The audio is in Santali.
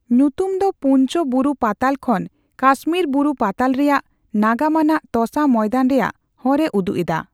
ᱧᱩᱛᱩᱢ ᱫᱚ ᱯᱩᱧᱪᱚ ᱵᱩᱨᱩ ᱯᱟᱛᱟᱞ ᱠᱷᱚᱱ ᱠᱟᱥᱢᱤᱨ ᱵᱩᱨᱩ ᱯᱟᱛᱟᱞ ᱨᱮᱭᱟᱜ ᱱᱟᱜᱟᱢᱟᱱᱟᱜ ᱛᱚᱥᱟ ᱢᱚᱭᱫᱟᱱ ᱨᱮᱭᱟᱜ ᱦᱚᱨᱮ ᱩᱫᱩᱜ ᱮᱫᱟ ᱾